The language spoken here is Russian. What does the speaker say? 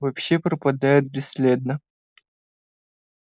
вообще пропадают бесследно